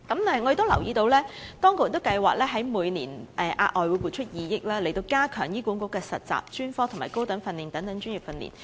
我亦留意到當局計劃未來每年額外撥出2億元，加強醫管局的實習、專科及高等訓練等專業訓練。